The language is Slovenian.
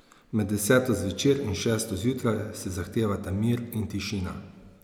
Med deseto zvečer in šesto zjutraj se zahtevata mir in tišina.